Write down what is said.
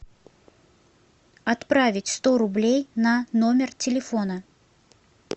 отправить сто рублей на номер телефона